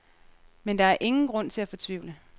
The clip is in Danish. Men der er ingen grund til at fortvivle.